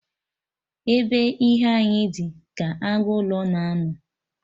Ebe ihe unyi dị, ka agụ ụlọ na-anọ